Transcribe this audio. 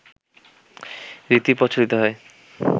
রীতি প্রচলিত হয়